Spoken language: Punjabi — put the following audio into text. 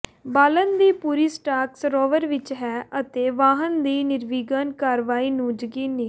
ਬਾਲਣ ਦੀ ਪੂਰੀ ਸਟਾਕ ਸਰੋਵਰ ਵਿੱਚ ਹੈ ਅਤੇ ਵਾਹਨ ਦੀ ਨਿਰਵਿਘਨ ਕਾਰਵਾਈ ਨੂੰ ਯਕੀਨੀ